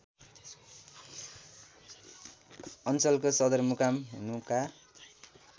अञ्चलको सदरमुकाम हुनुका